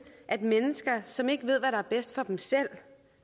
at mennesker som ikke ved hvad der er bedst for dem selv